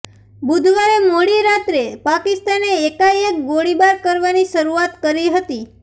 બુધવારે મોડી રાત્રે પાકિસ્તાને એકાએક ગોળીબાર કરવાની શરૂઆત કરી હતી